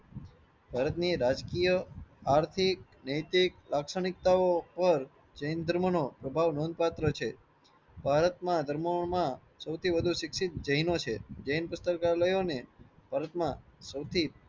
ભારતની રાજકીય આર્થિક નૈતિક લાક્ષણિકતાઓ પર જૈન ધર્મ નો અભાવ નોંધ પાત્ર છે. ભારત ના ધર્મો માં સૌથી શિક્ષિત જૈનો છે. જૈન પુસ્તકાલયોને ભારત માં સૌથી